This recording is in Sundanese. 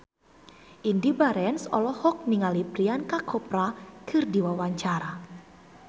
Indy Barens olohok ningali Priyanka Chopra keur diwawancara